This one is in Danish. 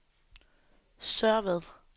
Sørvad